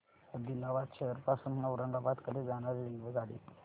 आदिलाबाद शहर पासून औरंगाबाद कडे जाणारी रेल्वेगाडी